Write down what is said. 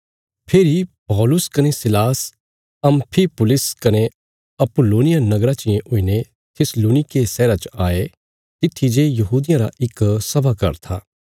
फेरी पौलुस कने सीलास अम्फिपुलिस कने अपुल्लोनिया नगराँ चियें हुईने थिस्सलुनीके शहरा च आये तित्थी जे यहूदियां रा इक सभा घर था